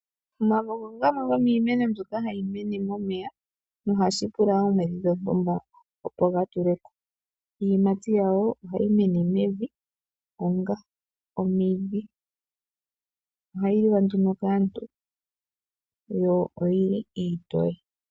Omavo ogo gamwe gomiimeno mbyoka hayi mene momeya, nohashi pula oomwedhi dhontumba, opo gatuleko. Iiyimayi yago ohayi mene mevi onga omidhi. Ohayi liwa nduno kaantu, yo oyili iitoye.